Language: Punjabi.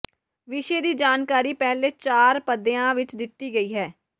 ਵਿਸ਼ੇ ਦੀ ਜਾਣਕਾਰੀ ਪਹਿਲੇ ਚਾਰ ਪਦਿਆਂ ਵਿੱਚ ਦਿੱਤੀ ਗਈ ਹੈ